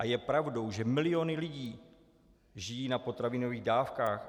A je pravdou, že miliony lidí žijí na potravinových dávkách?